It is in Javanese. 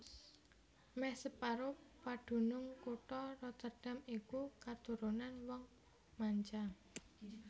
Mèh separo padunung kutha Rotterdam iku katurunan wong manca